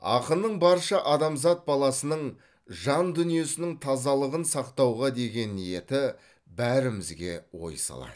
ақынның барша адамзат баласының жан дүниесінің тазалығын сақтауға деген ниеті бәрімізге ой салады